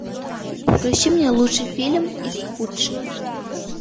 включи мне лучший фильм из худших